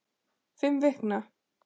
Fimm vikna